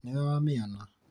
nĩwe wamĩona?